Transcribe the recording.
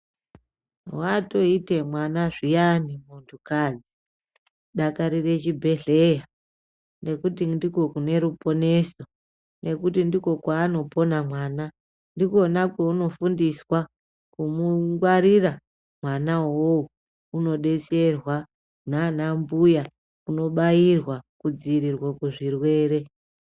Watoite mwana zviyani muntukadzi dakarire chibhedhlera ngekuti ndiko kune ruponeso nekuti ndiko kwaanopona mwana, ndikona kwaunofundiswa kumungwarira mwanawo uwowo unodetserwa nana mbuya kunobairwa kudzivirirwa kuzvirwere.